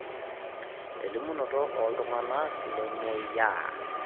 elimunoto ooltung'anak lememweyiaa